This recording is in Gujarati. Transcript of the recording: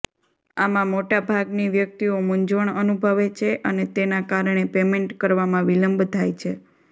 આમાં મોટા ભાગની વ્યક્તિઓ મુંઝવણ અનુભવે છે અને તેના કારણે પેમેન્ટ કરવામાં વિલંબ થાય છે